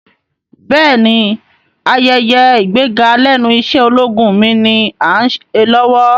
Bẹ́ẹ̀ni, ayẹyẹ ìgbéga lẹ́nu iṣẹ́ ológun mi ni Áà ń ṣe lọ́wọ́